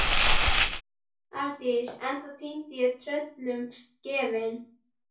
Arndís ennþá týnd og tröllum gefin.